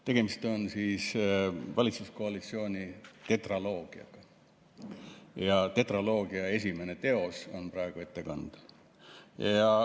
Tegemist on valitsuskoalitsiooni tetraloogiaga ja selle tetraloogia esimene teos on praegu ettekandel.